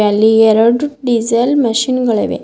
ಅಲ್ಲಿ ಎರಡು diesel machine ಗಳಿವೆ.